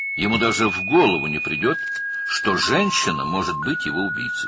Heç ağlına da gəlməzdi ki, qadın onun qatili ola bilər.